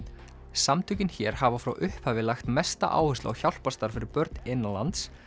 samtökin hér hafa frá upphafi lagt mesta áherslu á hjálparstarf fyrir börn innanlands